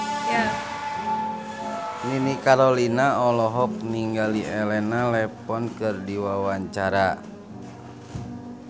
Nini Carlina olohok ningali Elena Levon keur diwawancara